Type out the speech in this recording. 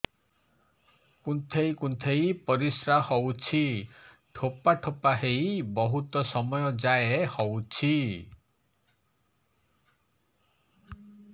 କୁନ୍ଥେଇ କୁନ୍ଥେଇ ପରିଶ୍ରା ହଉଛି ଠୋପା ଠୋପା ହେଇ ବହୁତ ସମୟ ଯାଏ ହଉଛି